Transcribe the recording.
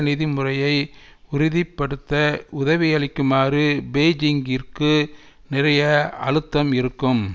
நிதி முறையை உறுதி படுத்த உதவியளிக்குமாறு பெய்ஜிங்கிற்கு நிறைய அழுத்தம் இருக்கும்